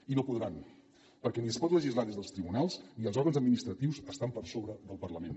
i no podran perquè ni es pot legislar des dels tribunals ni els òrgans administratius estan per sobre del parlament